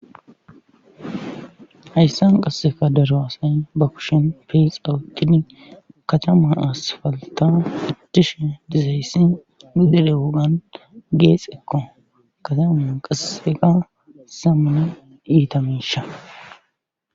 hayssan qasseka daraasay ba kushen feexawutini katama as falta dishe dizayssi nu dere wogan geexekko katama qasseka samana iitamisha